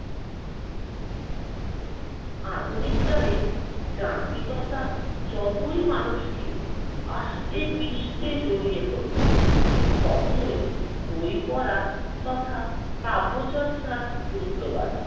আধুনিককালে যান্ত্রিকতা যতই মানুষকে আষ্টেপৃষ্ঠে জড়িয়ে ধরছে, ততই বই পড়া তথা কাব্যচর্চার গুরুত্ব বাড়ছে।